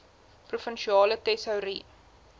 provinsiale tesourie